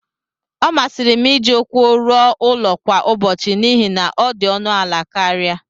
ọ masịrị m iji ụkwụ ruo ụlọ kwa ụbọchị n'ihi na ọ dị ọnụ ala karịa